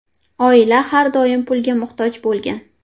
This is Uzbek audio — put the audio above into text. Oila har doim pulga muhtoj bo‘lgan.